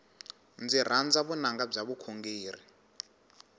ndzi rhandza vunanga bya vukhongeri